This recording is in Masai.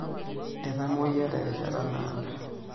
Etamwoyia terishata naado.